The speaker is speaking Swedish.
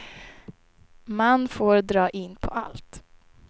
Man får dra in på allt.